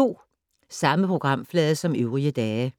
Samme programflade som øvrige dage